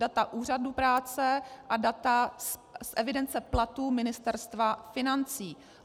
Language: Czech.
Data úřadu práce a data z evidence platů Ministerstva financí.